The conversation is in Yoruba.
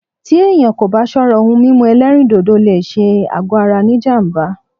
Tí èyàn kò bá ṣọ́rá, òhún mímú ẹ̀lẹ́rìndodò lé ṣé àgọ ara ní jám̀bá.